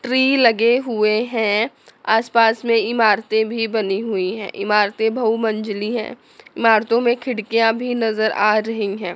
Tree लगे हुए हैं आस पास में इमारतें भी बनी हुई है इमरते बहू मंजीली है इमारतो में खिड़कियां भी नज़र आ रही है।